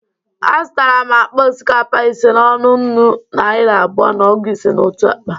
A zụtara m akpa osikakpa ise n'ọnụ nnụ naịra abụọ na ọgụ ise otu akpa.